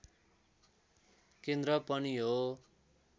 केन्द्र पनि हो